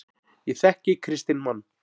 Ég þekki kristinn mann.